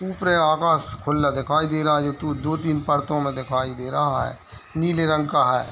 उअप्र आकाश खुल्ला दिखाई दे रहा है ये तो दो तीन फरको में दिखवाई दे रहा है नीले रंग का हैं।